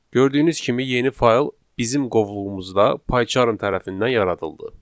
Gördüyünüz kimi yeni fayl bizim qovluğumuzda Pycharm tərəfindən yaradıldı.